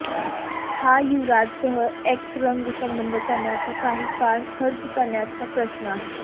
हा युवराजसह एक्स रंग संबद्ध करण्याचा काही काळ खर्च करण्याचा प्रश्न आहे